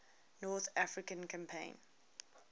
north african campaign